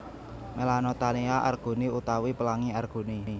Melanotaenia arguni utawi Pelangi Arguni